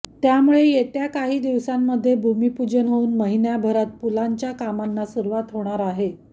त्यामुळे येत्या काही दिवसांमध्ये भूमिपुजन होऊन महिन्याभरात पुलांच्या कामांना सुरुवात होणार आहे